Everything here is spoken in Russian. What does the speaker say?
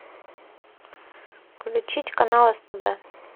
включить канал стб